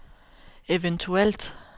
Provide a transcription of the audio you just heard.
eventuelt